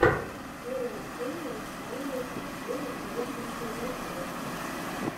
первая серия стайлэс обзоры и розыгрыши электроники